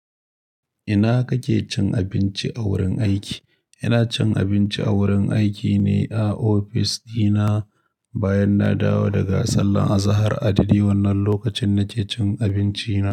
Ina kake cin abinci a wurin aiki? Ina cin abinci a wurin aiki ne a ofis dina bayan na dawo daga sallar azahar. A daidai wannan lokacin nake cin abinci na.